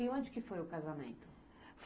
E onde que foi o casamento?